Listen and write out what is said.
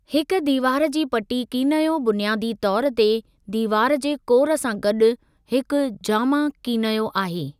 हिक दीवार जी पटी कीनयो बुनियादी तौर ते दीवार जे कोर सां गॾु हिकु जामा कीनयो आहे।